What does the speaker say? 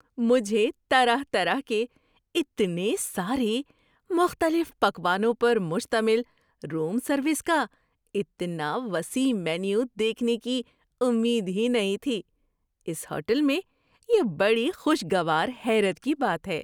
مجھے طرح طرح کے اتنے سارے مختلف پکوانوں پر مشتمل روم سروس کا اتنا وسیع مینیو دیکھنے کی امید ہی نہیں تھی۔ اس ہوٹل میں یہ بڑی خوشگوار حیرت کی بات ہے!